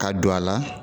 Ka don a la